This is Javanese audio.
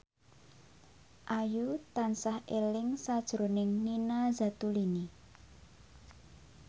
Ayu tansah eling sakjroning Nina Zatulini